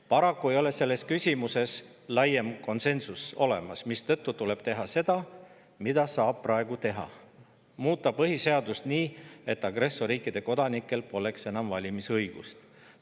Paraku ei ole selles küsimuses laiemat konsensust, mistõttu tuleb teha seda, mida praegu saab teha: muuta põhiseadust nii, et agressorriikide kodanikel poleks enam valimisõigust.